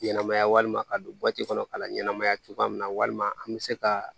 Ɲɛnɛmaya walima ka don kɔnɔ ka na ɲɛnamaya cogoya min na walima an bɛ se ka